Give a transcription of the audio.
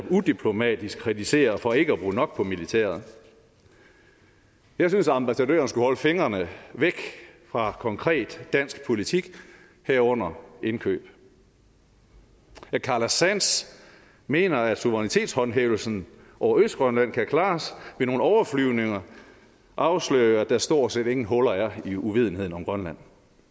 udiplomatisk kritiserer for ikke at bruge nok på militæret jeg synes ambassadøren skulle holde fingrene væk fra konkret dansk politik herunder indkøb at carla sands mener at suverænitetshåndhævelsen over østgrønland kan klares med nogle overflyvninger afslører jo at der stort set ingen huller er i uvidenheden om grønland